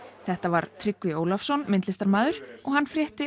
þetta var Tryggvi Ólafsson myndlistarmaður og hann frétti